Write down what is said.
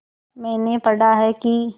मैंने पढ़ा है कि